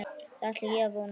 Það ætla ég að vona.